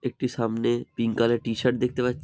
একটি সামনে pink colour T shirt দেখতে পাচ --